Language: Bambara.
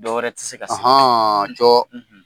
Dɔw tɛ se ka cɔ.